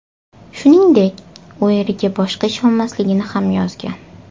Shuningdek, u eriga boshqa ishonmasligini ham yozgan.